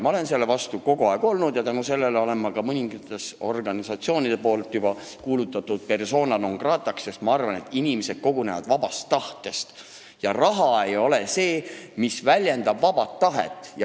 Ma olen selle vastu kogu aeg olnud ja tänu sellele on mõningad organisatsioonid mind juba kuulutanud persona non grata'ks, sest ma arvan, et inimesed kogunevad vabast tahtest ja raha ei ole see, mis väljendab vaba tahet.